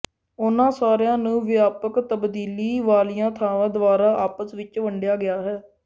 ਉਨ੍ਹਾਂ ਸਾਰਿਆਂ ਨੂੰ ਵਿਆਪਕ ਤਬਦੀਲੀ ਵਾਲੀਆਂ ਥਾਵਾਂ ਦੁਆਰਾ ਆਪਸ ਵਿੱਚ ਵੰਡਿਆ ਗਿਆ ਹੈ